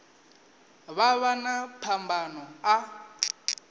vha vha na phambano a